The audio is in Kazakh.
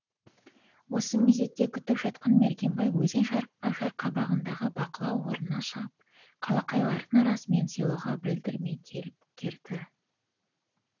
осы мезетті күтіп жатқан мергенбай өзен жарқабағындағы бақылау орнынан шығып қалақайлардың арасымен селоға білдірмей келіп кірді